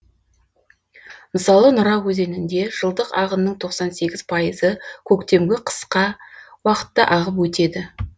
мысалы нұра өзенінде жылдық ағынның тоқсан сегіз пайызы көктемгі қысқа уақытта ағып өтеді